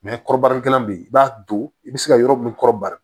kɔrɔbarali kɛlan bɛ yen i b'a don i bɛ se ka yɔrɔ min kɔrɔ bari